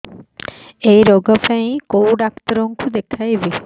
ଏଇ ରୋଗ ପାଇଁ କଉ ଡ଼ାକ୍ତର ଙ୍କୁ ଦେଖେଇବି